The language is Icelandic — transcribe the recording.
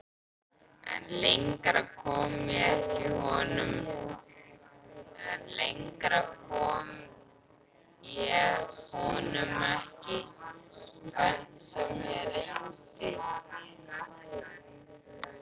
En lengra kom ég honum ekki, hvernig sem ég reyndi.